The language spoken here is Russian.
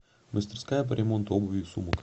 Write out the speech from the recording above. мастерская по ремонту обуви и сумок